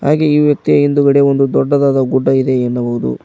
ಹಾಗೆ ಈ ವ್ಯಕ್ತಿಯ ಹಿಂದುಗಡೆ ಒಂದು ದೊಡ್ಡದಾದ ಗುಡ್ಡ ಇದೆ ಎನ್ನಬಹುದು.